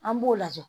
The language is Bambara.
An b'o lajɛ